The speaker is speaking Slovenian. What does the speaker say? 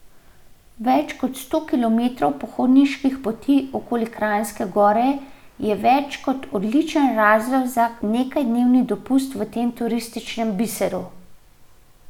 Več kot sto kilometrov pohodniških poti okoli Kranjske Gore je več kot odličen razlog za nekajdnevni dopust v tem turističnem biseru.